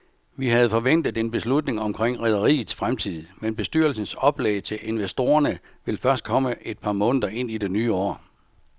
Vi havde forventet en beslutning omkring rederiets fremtid, men bestyrelsens oplæg til investorerne vil først komme et par måneder ind i det nye år.